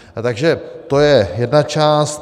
Takže to je jedna část.